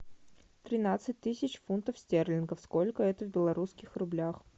тринадцать тысяч фунтов стерлингов сколько это в белорусских рублях